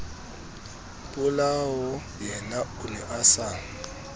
polaoyena o ne a sa